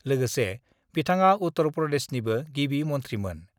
लोगोसे बिथाङा उत्तर प्रदेशनिबो गिबि मन्थिमोन।